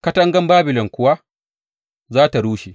Katangan Babilon kuwa za tă rushe!